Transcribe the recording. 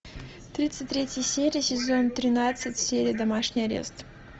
тридцать третья серия сезон тринадцать сериал домашний арест